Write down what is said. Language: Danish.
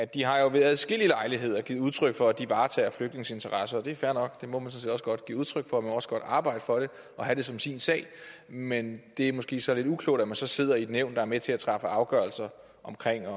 de har jo ved adskillige lejligheder givet udtryk for at de varetager flygtninges interesser og det er fair nok det må man sådan set også godt give udtryk for man må også godt arbejde for det og have det som sin sag men det er måske så lidt uklogt at man så sidder i et nævn der er med til at træffe afgørelse om